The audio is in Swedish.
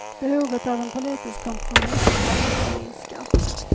Behovet av en politisk kompromiss har inte minskat.